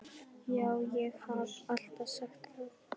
Já, ég haf alltaf sagt það.